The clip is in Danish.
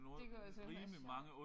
Det kunne altså være sjovt